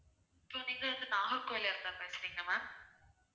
இங்க வந்து நாகர்கோவிலுக்கு branch எங்க ma'am